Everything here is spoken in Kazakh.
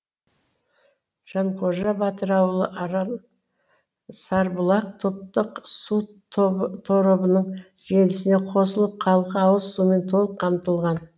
жанқожа батыр ауылы арал сарбұлақ топтық су торабының желісіне қосылып халқы ауыз сумен толық қамтылған